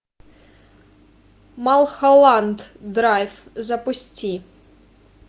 малхолланд драйв запусти